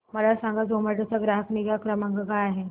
मला सांगा झोमॅटो चा ग्राहक निगा क्रमांक काय आहे